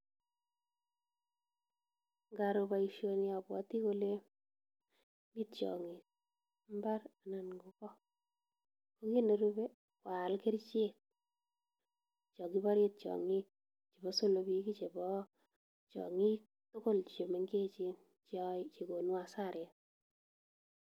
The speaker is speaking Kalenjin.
Ngaro boisioni abwoti ale mi tiong'ik mbar anan ko go. Ko kiit nerube ko aal kerichek cho kibore tiong'ik, chebo solobik, chebo tiong'ik tugul che mengechen che konu hasaret.